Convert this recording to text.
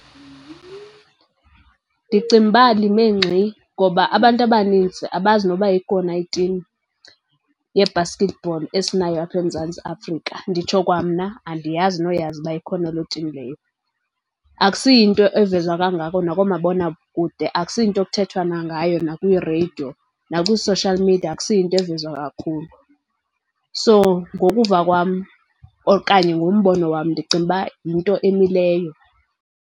Ndicinga uba lime ngxi ngoba abantu abanintsi abazi noba ikhona itim ye-basketball esinayo apha eMzantsi Afrika. Nditsho kwa mna andiyazi noyazi uba ikhona loo tim leyo. Akusiyinto evezwa kangako nakoomabonakude, akusiyinto ekuthethwana nangayo nakwii-radio, nakwii-social media akusiyinto evezwa kakhulu. So, ngokuva kwam okanye ngombono wam ndicinga uba yinto emileyo.